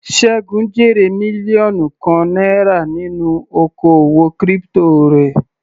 Segun jèrè mílíọ̀nù kan náírà nínú oko òwò crypto rẹ̀.